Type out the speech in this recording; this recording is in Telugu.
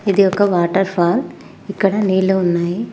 ఒక వాటర్ఫాల్ ఇక్కడ నీళ్ళు ఉన్నాయి.